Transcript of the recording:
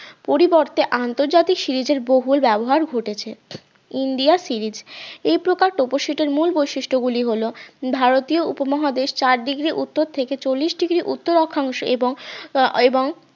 পরিবর্তে আন্তর্জাতিক series এর বহুল ব্যবহার ঘটেছে ইন্ডিয়া series এই প্রকার পপর sit এর মূল বৈশিষ্ট্য গুলি হল ভারতীয় উপমহাদেশ চার degree উত্তর থেকে চল্লিশ degree উত্তর অক্ষাংশ এবং এবং